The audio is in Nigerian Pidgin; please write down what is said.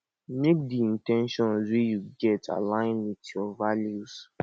make di in ten tions wey you get align with your values